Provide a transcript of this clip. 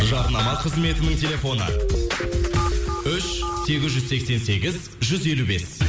жарнама қызметінің телефоны үш сегіз жүз сексен сегіз жүз елу бес